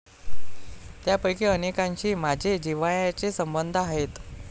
त्यापैकी अनेकांशी माझे जिव्हाळ्याचे संबंध आहेत.